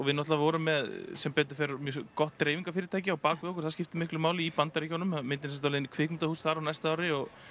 við vorum með sem betur fer gott dreifingarfyrirtæki á bak við okkur það skiptir miklu máli í Bandaríkjunum myndin er sem sagt á leiðinni í kvikmyndahús þar á næsta ári og